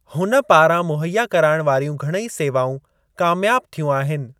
हुन पारां मुहैया कराइणु वारियूं घणेई सेवाऊं कामयाब थियूं आहिनि।